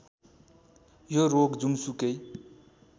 यो रोग जुनसुकै